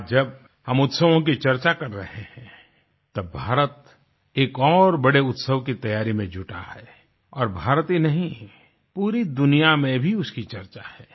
आज जब हम उत्सवों की चर्चा कर रहे हैं तब भारत एक और बड़े उत्सव की तैयारी में जुटा है और भारत ही नहीं पूरी दुनिया में भी उसकी चर्चा है